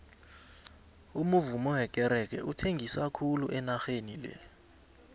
umuvummo wekerege uthengisa khulu enageni le